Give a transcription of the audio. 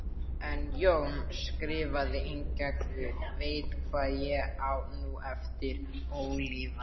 En Jón skrifaði einnig: guð veit, hvað ég á nú eftir ólifað.